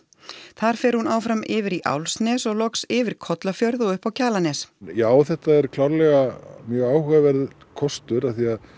þar fer hún áfram yfir í Álfsnes og loks yfir Kollafjörð og upp á Kjalarnes já þetta er klárlega mjög áhugaverður kostur af því